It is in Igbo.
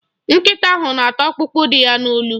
Nkịta ahụ na-ata ọkpụkpụ dị ya n'olu.